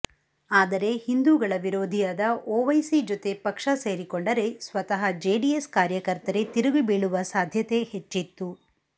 ಆದರೆ ಹಿಂದೂಗಳ ವಿರೋಧಿಯಾದ ಓವೈಸಿ ಜೊತೆ ಪಕ್ಷ ಸೇರಿಕೊಂಡರೆ ಸ್ವತಃ ಜೆಡಿಎಸ್ ಕಾರ್ಯಕರ್ತರೇ ತಿರುಗಿಬೀಳುವ ಸಾಧ್ಯತೆ ಹೆಚ್ಚಿತ್ತು